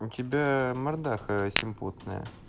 у тебя мордаха симпотная